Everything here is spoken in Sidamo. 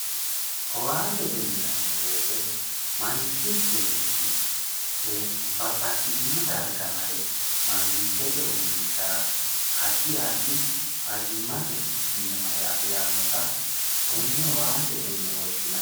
owaantete yinanni wote manchi beetti babbaxitino bayiicho mare mangitete uurrinshara addi addi fayyimate mine mare afirannota tenne owaantete yine woshshinanni.